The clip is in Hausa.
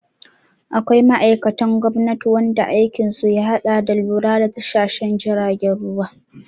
Akwai ma'aikatan gwamnati wanda aikin su ya haɗa da lura da tashashen jiragen ruwa